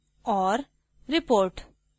people और